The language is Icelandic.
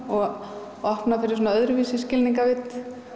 og opna fyrir öðruvísi skilningarvit